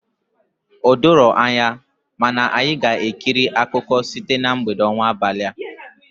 O doro anya, mana anyị ga-ekiri akụkọ site na mgbede ọnwa abalịa.